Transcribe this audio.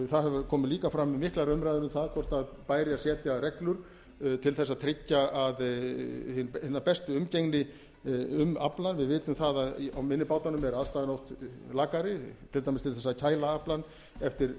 það komu líka fram miklar umræður um það bæri að setja reglur til þess að tryggja hina bestu umgengni um aflann við vitum að á minni bátunum er aðstaðan oft lakari til dæmis til þess að kæla aflann